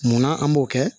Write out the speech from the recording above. Munna an b'o kɛ